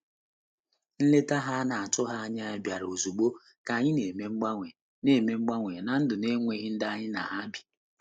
Nleta ha a na-atụghị anya ya bịara ozugbo ka anyị na-eme mgbanwe na-eme mgbanwe ná ndụ n’enweghị ndị anyị na ha bi.